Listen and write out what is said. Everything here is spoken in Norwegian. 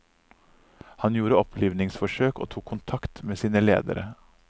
Han gjorde opplivningsforsøk og tok kontakt med sine ledere.